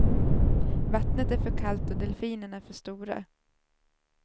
Vattnet är för kallt och delfinerna för stora.